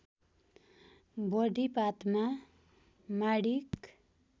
बढी पातमा माणिक